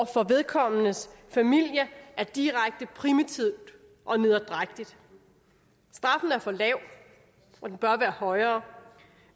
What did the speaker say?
for vedkommendes familie er direkte primitivt og nederdrægtigt straffen er for lav og den bør være højere